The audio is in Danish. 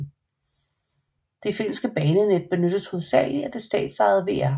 Det finske banenet benyttes hovedsagelig af det statsejede VR